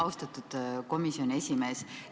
Austatud komisjoni esimees!